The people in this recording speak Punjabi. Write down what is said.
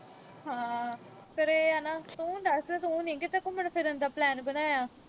ਹਾਂ, ਫਿਰ ਇਹ ਆ ਨਾ ਅਹ ਤੂੰ ਦੱਸ, ਤੂੰ ਨੀਂ ਕਿਤੇ ਘੁੰਮਣ-ਫਿਰਨ ਦਾ plan ਬਣਾਇਆ।